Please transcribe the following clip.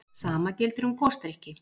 sama gildir um gosdrykki